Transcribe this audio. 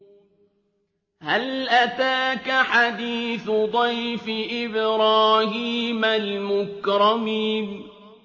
هَلْ أَتَاكَ حَدِيثُ ضَيْفِ إِبْرَاهِيمَ الْمُكْرَمِينَ